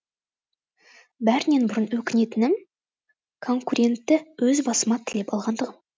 бәрінен бұрын өкінетінім конкурентті өз басыма тілеп алғандығым